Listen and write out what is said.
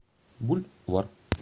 буль вар